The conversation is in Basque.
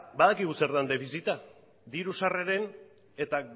badakigu zer den defizita diru sarreren eta